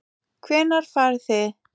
Hvenær farið þið?